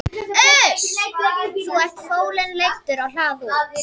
Þá var fólinn leiddur á hlað út.